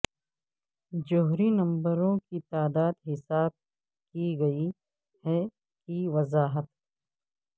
جوہری نمبروں کی تعداد حساب کی گئی ہے کی وضاحت